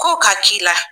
Ko ka k'i la